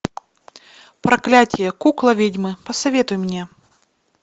проклятие кукла ведьмы посоветуй мне